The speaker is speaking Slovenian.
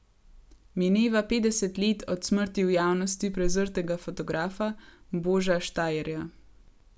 Mineva petdeset let od smrti v javnosti prezrtega fotografa Boža Štajerja.